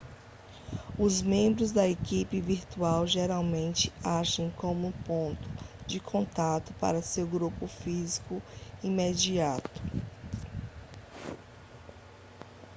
os membros da equipe virtual geralmente agem como o ponto de contato para seu grupo físico imediato